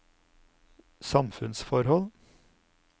samfunnsforhold